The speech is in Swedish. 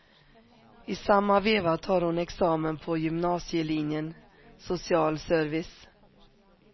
I samma veva tar hon examen på gymnasielinjen social service.